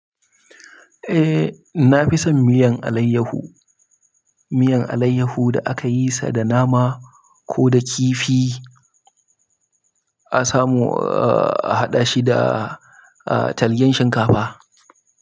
Eh, na fi son miyan alayyahu. Miyan alayyahu da aka yi sa da nama ko da kifi a samu a haɗa shi da, ah, talgen shinkafa.